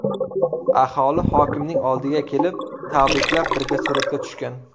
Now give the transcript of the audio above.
Aholi hokimning oldiga kelib, tabriklab, birga suratga tushgan.